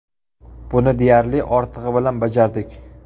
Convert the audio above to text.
Buni deyarli ortig‘i bilan bajardik.